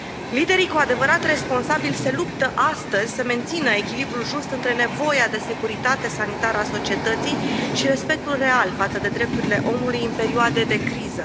Liderii cu adevărat responsabili se luptă astăzi să mențină echilibrul just între nevoia de securitate sanitară a societății și respectul real față de drepturile omului în perioade de criză.